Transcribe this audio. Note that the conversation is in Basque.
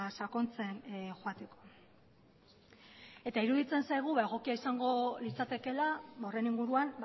sakontzen joateko eta iruditzen zaigu egokia izango litzatekeela horren inguruan